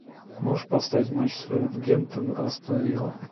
можешь поставить матч саутгемптон астон вилла